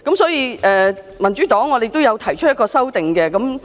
所以，民主黨亦將提出修正案。